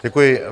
Děkuji.